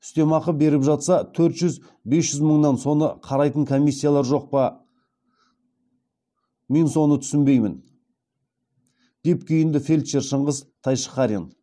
үстемақы беріп жатса төрт жүз бес жүз мыңнан соны қарайтын комиссиялар жоқ па мен соны түсінбеймін деп күйінді фельдшер шыңғыс тайшықарин